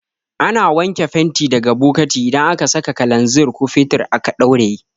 Ana wanke fenti daga bokati idan aka saka kalanzir ko fetur aka ɗauraye